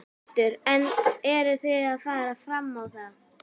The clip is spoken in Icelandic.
Hjörtur: En eruð þið að fara fram á það?